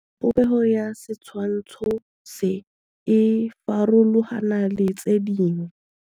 Popêgo ya setshwantshô se, e farologane le tse dingwe.